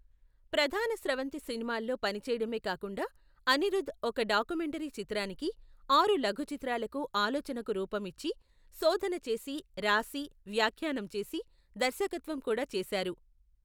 ప్రధాన స్రవంతి సినిమాల్లో పనిచేయడమే కాకుండా, అనిరుధ్ ఒక డాకుమెంటరీ చిత్రానికి, ఆరు లఘు చిత్రాలకు ఆలోచనకు రూపం ఇచ్చి, శోధన చేసి, రాసి, వ్యాఖ్యానం చేసి, దర్శకత్వం కూడా చేశారు.